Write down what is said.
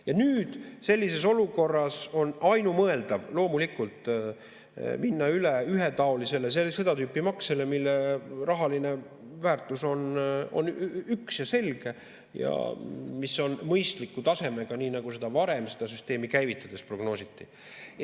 Ja nüüd, sellises olukorras on ainumõeldav loomulikult minna üle ühetaolisele seda tüüpi maksele, mille rahaline väärtus on üks ja selge ja mis on mõistliku tasemega, nii nagu varem seda süsteemi käivitades prognoositi.